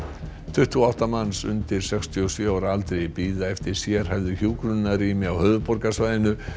tuttugu og átta manns undir sextíu og sjö ára aldri bíða eftir sérhæfðu hjúkrunarrými á höfuðborgarsvæðinu